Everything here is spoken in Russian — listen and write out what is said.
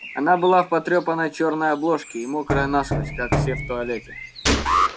она была в потрёпанной чёрной обложке и мокрая насквозь как все в туалете